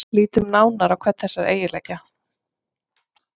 Lítum nánar á hvern þessara eiginleika.